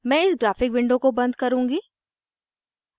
मैं इस graphic window को बन्द करुँगी